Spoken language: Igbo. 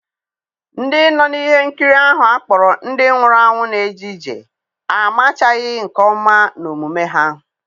Ndị nọ na ihe nkiri ahụ akpọrọ Ndị Nwụrụ Anwụ Na-eje ije amachaghị nke ọma n'omume ha.